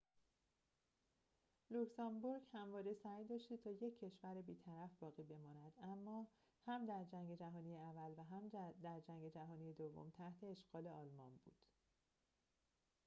لوکزامبورگ همواره سعی داشته تا یک کشور بیطرف باقی بماند اما هم در جنگ جهانی اول و هم در جنگ جهانی دوم تحت اشغال آلمان بود